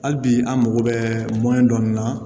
Hali bi an mago bɛ mɔni dɔ nin na